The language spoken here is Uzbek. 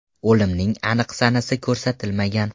O‘limning aniq sanasi ko‘rsatilmagan.